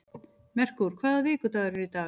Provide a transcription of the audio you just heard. Merkúr, hvaða vikudagur er í dag?